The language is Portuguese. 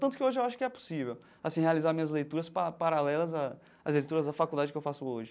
Tanto que hoje eu acho que é possível assim realizar minhas leituras pa paralelas às leituras da faculdade que eu faço hoje.